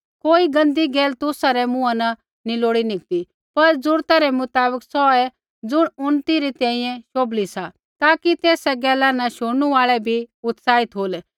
कोई गंदी गैल तुसा रै मुँहा न नैंई लोड़ी निकती पर जरुरता रै मुताबक सोऐ ज़ुण उन्नति री तैंईंयैं शोभली सा ताकि तेसा गैला न शुणनु आल़ै भी उत्साहित होलै